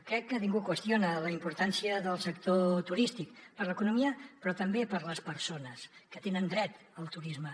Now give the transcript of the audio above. crec que ningú qüestiona la importància del sector turístic per a l’economia però també per a les persones que tenen dret al turisme